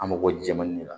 An mako bɛ ji jɛman nin na